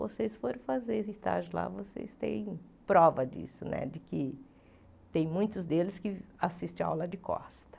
vocês foram fazer esse estágio lá, vocês têm prova disso né, de que tem muitos deles que assistem a aula de costa.